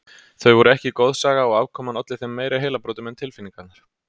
Þau voru ekki goðsaga og afkoman olli þeim meiri heilabrotum en tilfinningarnar.